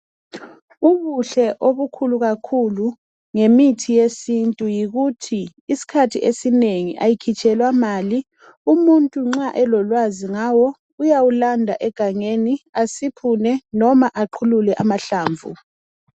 Ubuhle obukhulu kakhulu ngemithi yesintu yikuthi isikhathi esinengi, ayikhitshelwa mali. Umuntu nxa elolwazi ngawo, uyayilanda egangeni, asiphule, loba aqhulule amahlamvu,